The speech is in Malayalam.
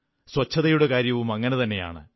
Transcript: സ്വച്ഛതയുടെ കാര്യവും അങ്ങനെതന്നെയാണ്